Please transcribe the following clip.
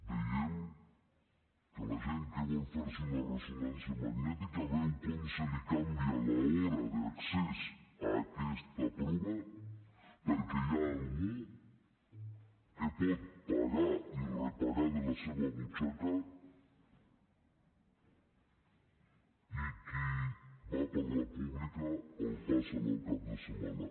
veiem que la gent que vol fer se una ressonància magnètica veu com se li canvia l’hora d’accés a aquesta prova perquè hi ha algú que pot pagar i repagar de la seva butxaca i qui va per la pública el passen al cap de setmana